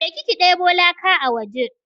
Je ki ki deɓo laka a waje!